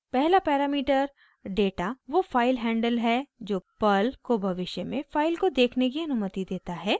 पहला parameter data वो filehandle है जो पर्ल को भविष्य में फाइल को देखने की अनुमति देता है